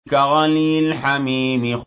كَغَلْيِ الْحَمِيمِ